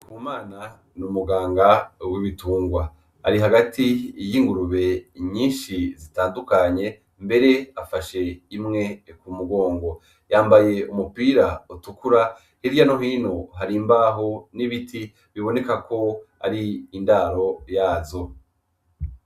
Ndikumana ni umuganga w'ibitungwa, ari hagati y'ingurube nyinshi zitandukanye mbere afashe imwe mu mugongo, yambaye umupira utukura hirya no hino hari imbaho n'ibiti biboneka ko ari indaro yazo.